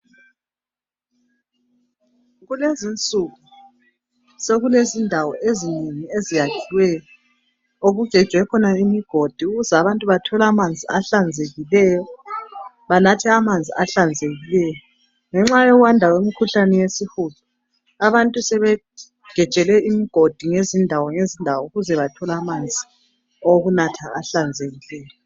Kulezinsuku sokulezindawo ezinengi eziyakhiweyo okugejwe khona imigodi ukuze abantu bathole amanzi ahlanzekileyo awokunatha. Lokhu kungenxa yokwanda kwemikhuhlane yesihudo.